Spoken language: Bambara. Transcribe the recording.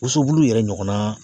Wosobulu yɛrɛ ɲɔgɔnnaa